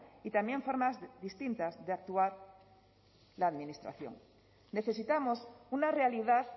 y también formas distintas de actuar la administración necesitamos una realidad